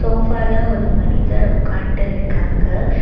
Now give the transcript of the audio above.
சோஃபால ஒரு மனிதர் உக்கான்ட்டு இருக்காங்க.